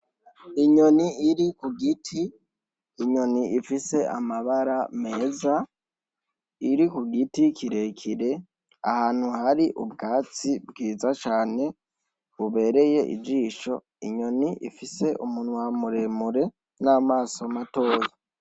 Inyoni iri ku giti, inyoni ifise amabara meza, iri ku giti kirekire, ahantu har'ubwatsi bwiza cane bubereye ijisho, inyoni ifise umunwa muremure n'amaso matoya.